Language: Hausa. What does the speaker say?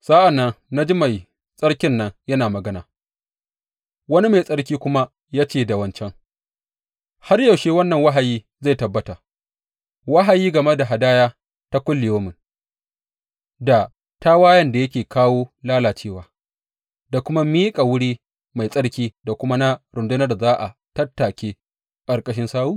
Sa’an nan na ji mai tsarkin nan yana magana, wani mai tsarki kuma ya ce da wancan, Har yaushe wannan wahayi zai tabbata, wahayi game da hadaya ta kullayaumi, da tawayen da yake kawo lalacewa, da kuma miƙa wuri mai tsarki da kuma na rundunar da za a tattake a ƙarƙashin sawu?